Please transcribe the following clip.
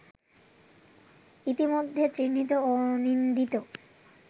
ইতিমধ্যে চিহ্নিত ও নিন্দিত